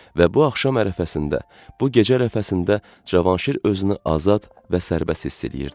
Və bu axşam ərəfəsində, bu gecə ərəfəsində Cavanşir özünü azad və sərbəst hiss eləyirdi.